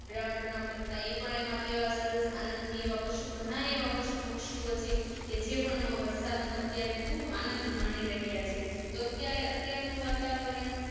ડ્રોઉં ડ્રોઉં કરતા ઈ પણ એમાં કેવા સરસ આનદ થીએવા પશુ ઘણાઈએવા પશુ પક્ષીઓછે કે જે પણ મો વરસાદ નો અત્યારે ખુબ આનદ માની રહ્યા છે તો અત્યારે અત્યાર નું વાતાવરણ